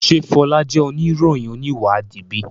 Ṣe Fola jẹ oniroyin oniwadi bi?